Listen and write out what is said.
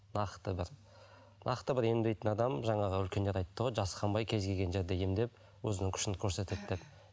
нақты бір нақты бір емдейтін адам жаңағы үлкендер айтты ғой жасқанбай кез келген жерде емдеп өзінің күшін көрсетеді деп